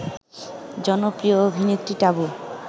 জনপ্রিয় অভিনেত্রী টাবু